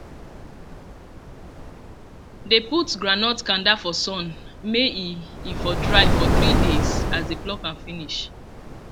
dey put groundnut kanda for sun may e e for dry for three days as dey pluck am finish